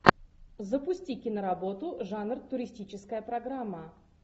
запусти киноработу жанр туристическая программа